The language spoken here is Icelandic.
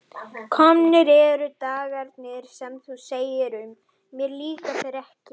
Komnir eru dagarnir sem þú segir um: mér líka þeir ekki.